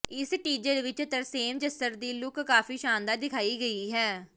ਇਸ ਟੀਜ਼ਰ ਵਿਚ ਤਰਸੇਮ ਜੱਸੜ ਦੀ ਲੁਕ ਕਾਫੀ ਸ਼ਾਨਦਾਰ ਦਿਖਾਈ ਗਈ ਹੈ